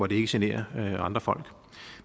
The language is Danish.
ikke generer andre folk